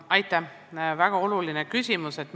Aitäh!